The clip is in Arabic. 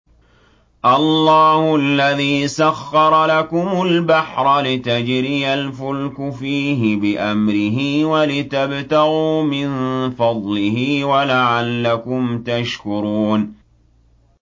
۞ اللَّهُ الَّذِي سَخَّرَ لَكُمُ الْبَحْرَ لِتَجْرِيَ الْفُلْكُ فِيهِ بِأَمْرِهِ وَلِتَبْتَغُوا مِن فَضْلِهِ وَلَعَلَّكُمْ تَشْكُرُونَ